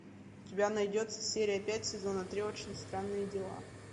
у тебя найдется серия пять сезона три очень странные дела